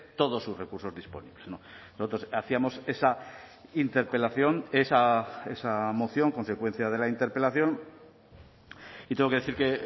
todos sus recursos disponibles nosotros hacíamos esa interpelación esa moción consecuencia de la interpelación y tengo que decir que